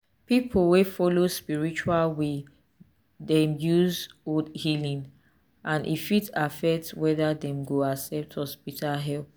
people wey follow spiritual way dey use old healing and e fit affect whether dem go accept hospital help.